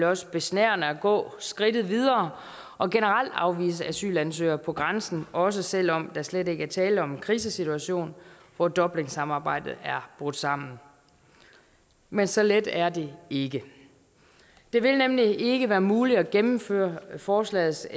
også besnærende at gå skridtet videre og generelt afvise asylansøgere på grænsen også selv om der slet ikke er tale om en krisesituation hvor dublinsamarbejdet er brudt sammen men så let er det ikke det vil nemlig ikke være muligt at gennemføre forslagets